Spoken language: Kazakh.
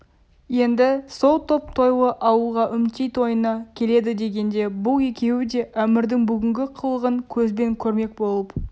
енді сол топ тойлы ауылға үмтей тойына келеді дегенде бұл екеуі де әмірдің бүгінгі қылығын көзбен көрмек болып